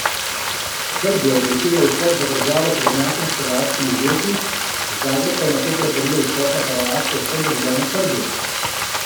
Srbija je blokirala vstop v državo tovornjakom s hrvaškimi izdelki, Zagreb pa je nato prepovedal vstop na Hrvaško vsem državljanom Srbije.